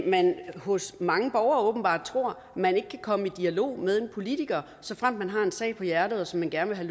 man hos mange borgere åbenbart tror at man ikke kan komme i dialog med en politiker såfremt man har en sag på hjertet og som man gerne vil